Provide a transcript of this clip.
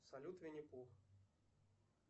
салют винни пух